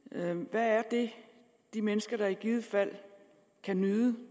hvad er det de mennesker i givet fald kan nyde